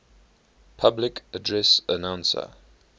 public address announcer